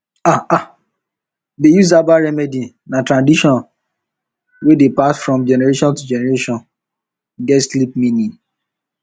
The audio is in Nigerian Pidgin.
um to um dey um use herbal remedy na tradition wey dey pass from generation to generation get deep meaning